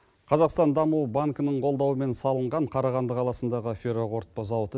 қазақстан даму банкінің қолдауымен салынған қарағанды қаласындағы фероқорытпа зауыты